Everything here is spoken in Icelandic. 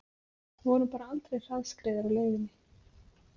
Vorum bara aldrei hraðskreiðir á leiðinni